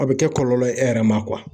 A bɛ kɛ kɔlɔlɔ ye e yɛrɛ ma